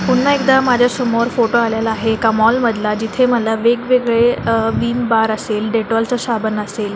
पुन्हा एकदा माझ्या समोर फोटो आलेला आहे एका मॉल मधला जिथे मला वेगवेगळे अ विम बार असेल डेटॉलचा साबण असेल.